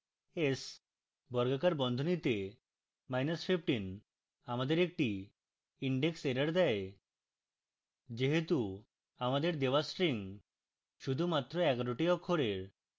s বর্গাকার বন্ধনীতে minus 15 আমাদের একটি indexerror দেয় যেহেতু আমাদের দেওয়া string শুধুমাত্র 11 the অক্ষরের